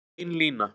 Bein lína